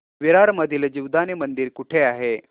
विरार मधील जीवदानी मंदिर कुठे आहे